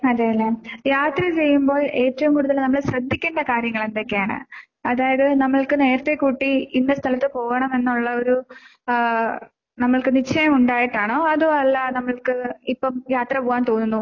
അതേല്ലേ? യാത്ര ചെയ്യുമ്പോൾ ഏറ്റവും കൂടുതല് നമ്മള് ശ്രദ്ധിക്കേണ്ട കാര്യങ്ങൾ എന്തൊക്കെയാണ്? അതായത് നമ്മൾക്ക് നേരത്തെ കൂട്ടി ഇന്ന സ്ഥലത്ത് പോകണം എന്നുള്ളൊരു ആഹ് നമ്മുക്ക് നിശ്ചയം ഉണ്ടായിട്ടാണോ അതോ അല്ലാ നമ്മൾക്ക് ഇപ്പം യാത്ര പോകാൻ തോന്നുന്നു